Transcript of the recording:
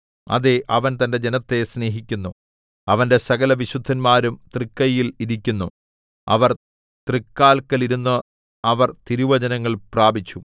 അതേ അവൻ തന്റെ ജനത്തെ സ്നേഹിക്കുന്നു അവന്റെ സകലവിശുദ്ധന്മാരും തൃക്കയ്യിൽ ഇരിക്കുന്നു അവർ തൃക്കാല്ക്കൽ ഇരുന്നു അവർ തിരുവചനങ്ങൾ പ്രാപിച്ചു